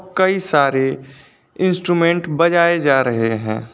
कई सारे इंस्ट्रूमेंट बजाए जा रहे हैं।